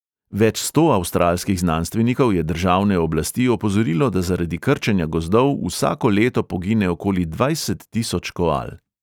Več sto avstralskih znanstvenikov je državne oblasti opozorilo, da zaradi krčenja gozdov vsako leto pogine okoli dvajset tisoč koal.